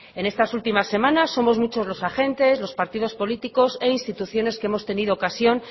en estas últimas semanas somos muchos los agentes los partidos políticos e instituciones que hemos tenido ocasión